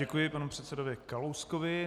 Děkuji panu předsedovi Kalouskovi.